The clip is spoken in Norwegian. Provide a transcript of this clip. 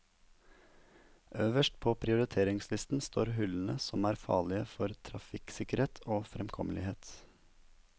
Øverst på prioriteringslisten står hullene som er farlige for trafikksikkerhet og fremkommelighet.